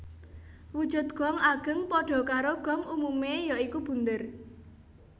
Wujud gong ageng padha karo gong umume ya iku bunder